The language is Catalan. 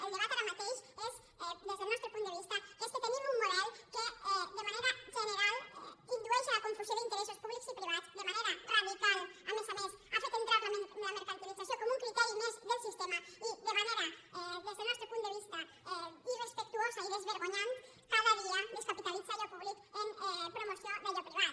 el debat ara mateix és des del nostre punt de vista que tenim un model que de manera general indueix a la confusió d’interessos públics i privats de manera radical a més a més ha fet entrar la mercantilització com un criteri més del sistema i de manera des del nostre punt de vista irrespectuosa i desvergonyida cada dia descapitalitza allò públic en promoció d’allò privat